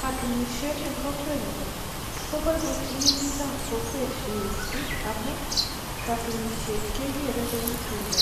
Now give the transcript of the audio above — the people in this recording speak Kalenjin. Katunisiet eng kokwenyu koboiboichini biikab kokwet mising amun katunisiet kegeere kou tumdo